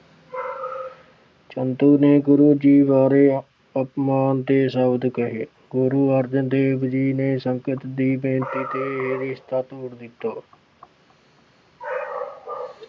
ਚੰਦੂ ਨੇ ਗੁਰੂ ਜੀ ਬਾਰੇ ਅਪਮਾਨ ਦੇ ਸ਼ਬਦ ਕਹੇ। ਗੁਰੂ ਅਰਜਨ ਦੇਵ ਜੀ ਨੇ ਸੰਗਤ ਦੀ ਬੇਨਤੀ ਤੇ ਇਹ ਰਿਸ਼ਤਾ ਤੋੜ ਦਿੱਤਾ।